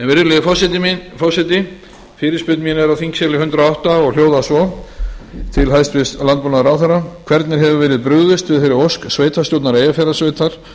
virðulegi forseti fyrirspurn mín er á þingskjali hundrað og átta og hljóðar svo til hæstvirts landbúnaðarráðherra hvernig hefur verið brugðist við þeirri ósk sveitarstjórnar eyjafjarðarsveitar